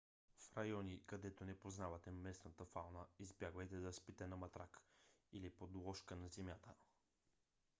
в райони където не познавате местната фауна избягвайте да спите на матрак или подложка на земята